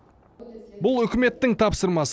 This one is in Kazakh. бұл үкіметтің тапсырмасы